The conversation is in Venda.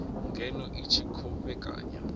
ngeno i tshi khou vhekanya